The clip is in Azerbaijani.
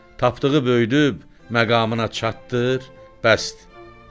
Tapdığı böyüdüb, məqamına çatdırdır, bəsdir.